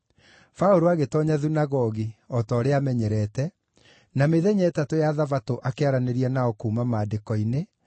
Paũlũ agĩtoonya thunagogi, o ta ũrĩa aamenyerete, na mĩthenya ĩtatũ ya Thabatũ akĩaranĩria nao kuuma Maandĩko-inĩ,